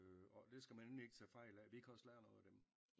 Og det skal men endelig ikke tage fejl af vi kan også lære noget af dem